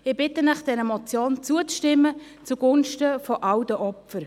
Ich bitte Sie, dieser Motion zuzustimmen, zugunsten von all den Opfern.